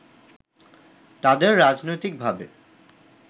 তাদের রাজনৈতিকভাবে